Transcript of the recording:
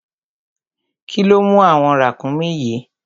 Kíló mú àwọn ràkúnmí yìí?